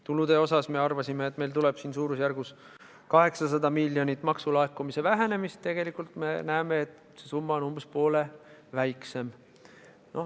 Tulude osas me arvasime, et meil tuleb umbes 800 miljonit eurot maksulaekumise vähenemist, tegelikult me näeme, et see summa on umbes poole väiksem.